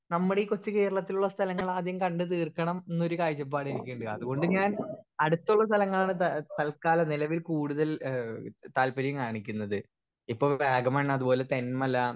speaker 1 നമ്മുടെ ഈ coach കേരളത്തിലുള്ള സ്ഥലങ്ങളാദ്യം കണ്ട് തീർക്കണം ന്ന് ഒരു കാഴ്ചപ്പാട് എനിക്കിണ്ട് അതുകൊണ്ട് ഞാൻ അടുത്തുള്ള സ്ഥലങ്ങളാണ് ത തല്ക്കാലം നിലവിൽ കൂടുതൽ ഏഹ് താല്പര്യം കാണിക്കുന്നത് ഇപ്പൊ വാഗമൺ അതുപോലെ തേൻമല